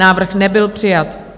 Návrh nebyl přijat.